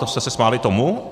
To jste se smáli tomu?